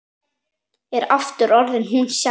Er aftur orðin hún sjálf.